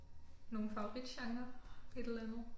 Nogle favoritgenrer et eller andet?